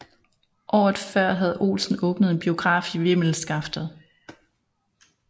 Året før havde Olsen åbnet en biograf i Vimmelskaftet